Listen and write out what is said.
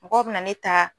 Mɔgɔw bɛna ne ta